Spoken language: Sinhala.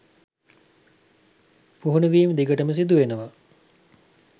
පුහුණුවීම් දිගටම සිදුවෙනවා.